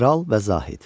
Kral və Zahid.